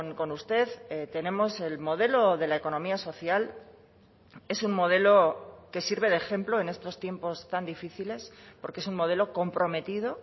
con usted tenemos el modelo de la economía social es un modelo que sirve de ejemplo en estos tiempos tan difíciles porque es un modelo comprometido